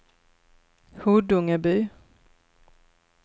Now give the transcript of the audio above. Huddungeby